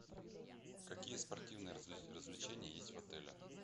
какие спортивные развлечения есть в отеле